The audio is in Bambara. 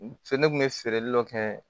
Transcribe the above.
Fo ne kun bɛ feereli dɔ kɛ